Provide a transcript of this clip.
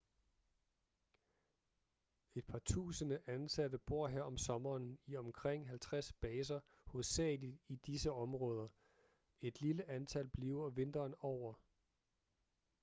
et par tusinde ansatte bor her om sommeren i omkring 50 baser hovedsagelig i disse områder et lille antal bliver vinteren over